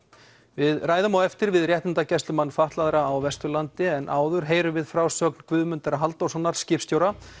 við ræðum á eftir við réttindagæslumann fatlaðra á Vesturlandi en áður heyrum við frásögn Guðmundar Halldórssonar skipstjóra